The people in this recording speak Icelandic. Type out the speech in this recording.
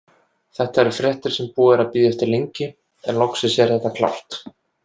Þetta eru fréttir sem búið er að bíða eftir lengi, en loksins er þetta klárt.